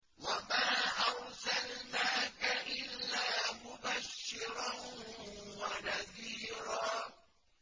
وَمَا أَرْسَلْنَاكَ إِلَّا مُبَشِّرًا وَنَذِيرًا